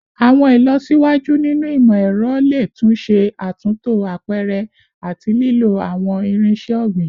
Awọn ilọsiwaju ninu imọ-ẹrọ le tun ṣe atunto apẹrẹ ati lilo awọn irinṣẹ ogbin